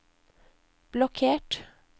blokkert